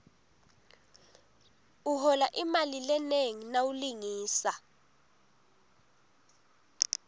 uhola imali lenengi nawulingisa